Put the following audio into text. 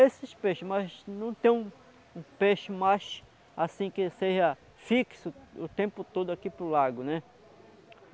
Esses peixe, mas não tem um peixe mais, assim, que seja fixo o tempo todo aqui para o lago, né?